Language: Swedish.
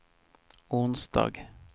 onsdag